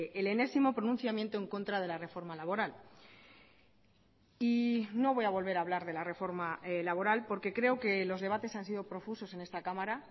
el enésimo pronunciamiento en contra de la reforma laboral y no voy a volver a hablar de la reforma laboral porque creo que los debates han sido profusos en esta cámara